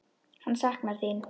Hann saknar þín.